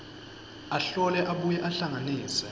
ahlole abuye ahlanganise